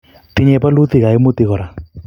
tinyei bolutik kaimutik kora